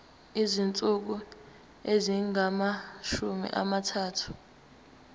izinsuku ezingamashumi amathathu